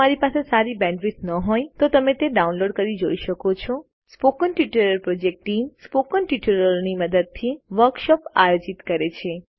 જો તમારી પાસે સારી બેન્ડવિડ્થ ન હોય તો તમે ડાઉનલોડ કરી તે જોઈ શકો છો spoken tutorial project team spoken ટ્યુટોરીયલોની મદદથી વર્કશોપ આયોજિત કરે છે